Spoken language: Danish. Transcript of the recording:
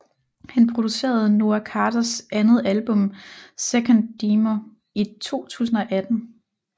Han producerede Noah Carters andet album 2nd Demo i 2018